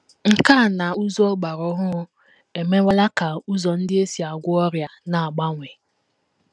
Nkà na ụzụ ọgbara ọhụrụ emewela ka ụzọ ndị e si agwọ ọrịa na - agbanwe.